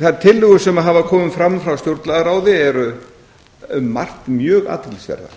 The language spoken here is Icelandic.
þær tillögur sem hafa komið fram frá stjórnlagaráði eru um margt mjög athyglisverðar